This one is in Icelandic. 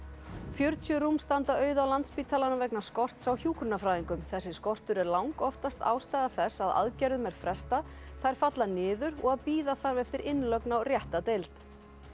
fjörutíu rúm standa auð á Landspítalanum vegna skorts á hjúkrunarfræðingum þessi skortur er langoftast ástæða þess að aðgerðum er frestað þær falla niður og að bíða þarf eftir innlögn á rétta deild